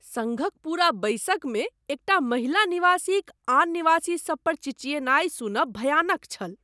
सङ्घक पूरा बैसकमे एकटा महिला निवासीक आन निवासीसभ पर चिचियेनाइ सुनब भयानक छल।